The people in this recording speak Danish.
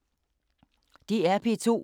DR P2